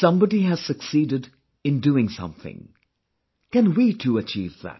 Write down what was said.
Somebody has succeeded in doing something can we too achieve that